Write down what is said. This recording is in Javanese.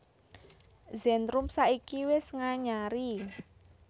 Zentrum saiki wis nganyari